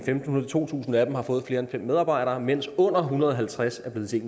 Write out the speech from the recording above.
fem hundrede to tusind af dem fået flere end fem medarbejdere mens under en hundrede og halvtreds er blevet til